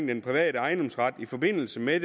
den private ejendomsret i forbindelse med